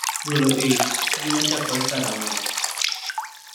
Golo ich: Ngima chakore karang�o?